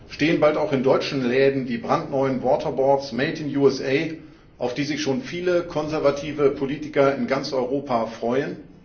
Stehen bald auch in deutschen Läden die brandneuen Waterboards made in USA auf die sich schon viele konservative Politiker in ganz Europa freuen?